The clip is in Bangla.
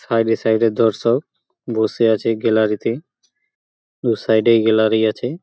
সাইড এ সাইড এ দর্শক বসে আছে গ্যালারিতে । দুই সাইড এ এই গ্যালারি আছে।